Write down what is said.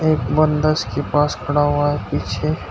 एक बंदा उसके पास खड़ा हुआ है पीछे।